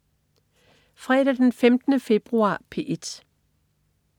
Fredag den 15. februar - P1: